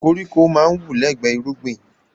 Koríko máa ń wù lẹ́gbẹ irúgbìn